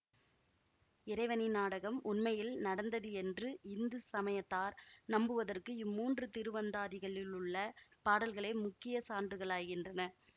இறைவனின் நாடகம் உண்மையில் நடந்தது என்று இந்து சமயத்தார் நம்புவதற்கு இம்மூன்று திருவந்தாதிகளிலுள்ள பாடல்களே முக்கிய சான்றுகளாகின்றன